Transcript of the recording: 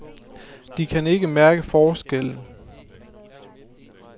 De kan ikke mærke forskellen.